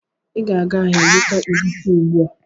Ị ga-aga ahịa zụta egwusi ugbu a!